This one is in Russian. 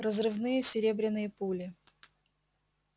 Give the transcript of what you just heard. разрывные серебряные пули